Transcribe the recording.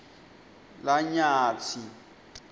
lanyatsi